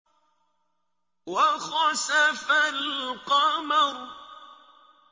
وَخَسَفَ الْقَمَرُ